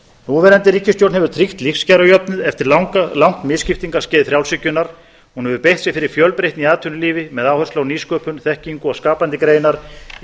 núverandi ríkisstjórn hefur tryggt lífskjarajöfnuð eftir langt misskiptingarskeið frjálshyggjunnar hún hefur beitt sér fyrir fjölbreytni í atvinnulífi með áherslu á nýsköpun þekkingu og skapandi greinar í